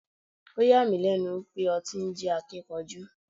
Oh yà mí lẹ́nu wípé ọtí ń jẹ́ Akíkanjú.